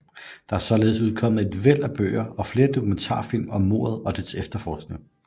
Der er således udkommet et væld af bøger og flere dokumentarfilm om mordet og dets efterforskning